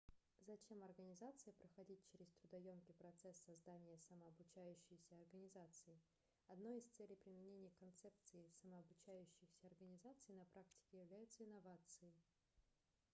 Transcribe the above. зачем организации проходить через трудоёмкий процесс создания самообучающейся организации одной из целей применения концепций самообучающихся организаций на практике являются инновации